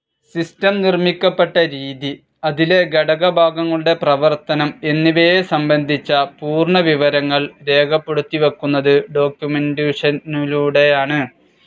System നിർമ്മിക്കപ്പെട്ട രീതി, അതിലെ ഘടകഭാഗങ്ങളുടെ പ്രവർത്തനം എന്നിവയെ സംബന്ധിച്ച പൂർണ വിവരങ്ങൾ രേഖപ്പെടുത്തിവയ്ക്കുന്നത് ഡോക്കുമെന്റേഷനിലൂടെയാണ്.